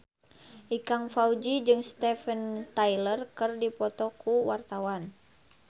Ikang Fawzi jeung Steven Tyler keur dipoto ku wartawan